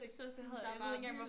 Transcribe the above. Så sådan der er bare vildt